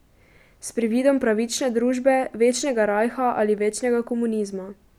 S prividom pravične družbe, večnega rajha ali večnega komunizma.